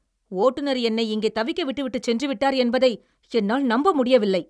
ஓட்டுநர் என்னை இங்கே தவிக்க விட்டுவிட்டுச் சென்றுவிட்டார் என்பதை என்னால் நம்ப முடியவில்லை!